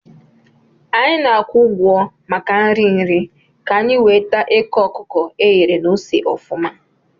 Anyị na-akwụ ụgwọ maka nri nri ka-anyi wee taa eke okuko eghere na ose ofuma